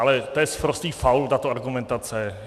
Ale to je sprostý faul, tato argumentace.